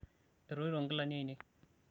etoito nkilani ainei